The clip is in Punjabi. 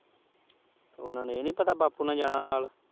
ਉਹਨਾਂ ਨੂੰ ਇਹ ਨੀ ਪਤਾ ਬਾਪੂ ਨਾਲ਼ ਜਾਣਾ ਨਾਲ਼।